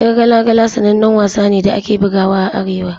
Yar gala gala sanannen wasa ne da ake bugawa a Arewa.